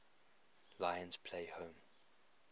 lions play home